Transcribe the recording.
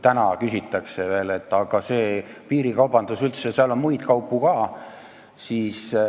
Täna öeldakse veel ikka, et aga seal piirikaubanduses on ju muid kaupu ka.